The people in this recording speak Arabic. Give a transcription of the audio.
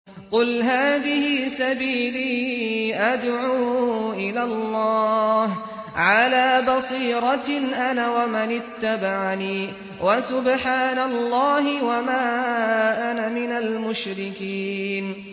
قُلْ هَٰذِهِ سَبِيلِي أَدْعُو إِلَى اللَّهِ ۚ عَلَىٰ بَصِيرَةٍ أَنَا وَمَنِ اتَّبَعَنِي ۖ وَسُبْحَانَ اللَّهِ وَمَا أَنَا مِنَ الْمُشْرِكِينَ